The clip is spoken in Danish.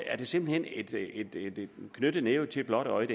er simpelt hen en knyttet næve til et blåt øje